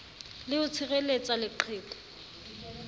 le d ho tshireletsa leqheku